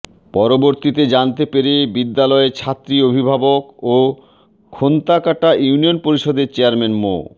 পরবর্তীতে জানতে পেরে বিদ্যালয়ের ছাত্রী অভিভাবক ও খোন্তাকাটা ইউনিয়ন পরিষদের চেয়ারম্যান মো